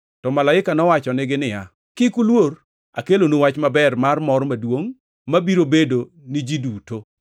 To malaika nowachonegi niya, “Kik uluor. Akelonu wach maber mar mor maduongʼ mabiro bedo ni ji duto.